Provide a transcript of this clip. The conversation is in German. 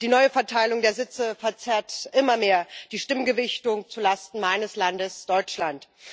Die neue Verteilung der Sitze verzerrt immer mehr die Stimmgewichtung zu Lasten meines Landes Deutschland.